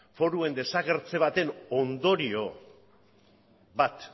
foruen desagertze baten ondorio bat